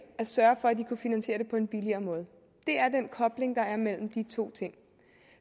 at sørge for at de kunne finansiere det på en billigere måde det er den kobling der er mellem de to ting